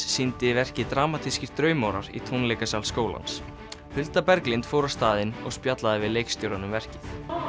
sýndi verkið dramatískir draumórar í tónleikasal skólans Berglind fór á staðinn og spjallaði við leikstjórann um verkið